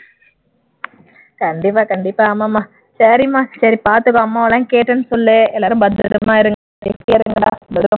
கண்டிப்பா கண்டிப்பா ஆமாம்மா சரிம்மா சரி பாத்துக்கோ அம்மாவெல்லாம் கேட்டேன்னு சொல்லு எல்லாரும் பத்திரமா இருங்க healthy யா இருங்கடா